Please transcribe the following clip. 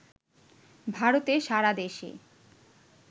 ভারতে সারা দেশে